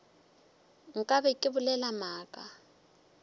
nka be ke bolela maaka